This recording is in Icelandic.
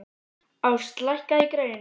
Ást, lækkaðu í græjunum.